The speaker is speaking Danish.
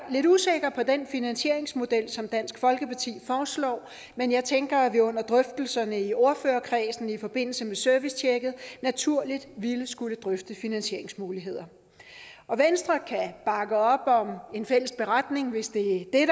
lidt usikker på den finansieringsmodel som dansk folkeparti foreslår men jeg tænker at vi under drøftelserne i ordførerkredsen i forbindelse med servicetjekket naturligt ville skulle drøfte finansieringsmuligheder venstre kan bakke op om en fælles beretning hvis det er